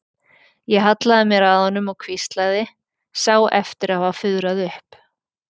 Ég hallaði mér að honum og hvíslaði, sá eftir að hafa fuðrað upp.